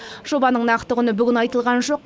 жобаның нақты құны бүгін айтылған жоқ